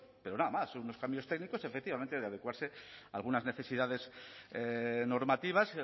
pero nada más son unos cambios técnicos efectivamente de adecuarse a algunas necesidades normativas